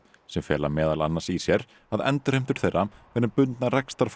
sem fela meðal annars í sér að endurheimtur þeirra verði bundnar